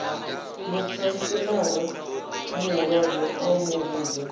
mukhantselara muhulwane a mu vhudza